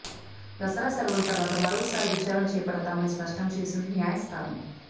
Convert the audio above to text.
దసరా సెలవుల తర్వాత మరోసారి విచారణ చేపడతామని స్పష్టం చేసింది న్యాయస్థానం